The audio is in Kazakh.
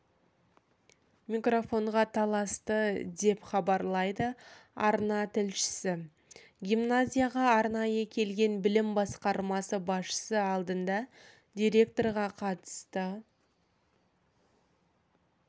микрофонға таласты деп хабарлайды арна тілшісі гимназияға арнайы келген білім басқармасы басшысы алдында директорға қатысты